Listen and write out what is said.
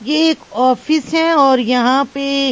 ये एक ऑफिस है और यहां पे--